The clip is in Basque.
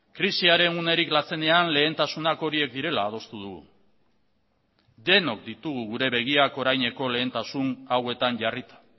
krisiaren unerik latzenean lehentasunak horiek direla adostu dugu denok ditugu gure begiak oraineko lehentasun hauetan jarrita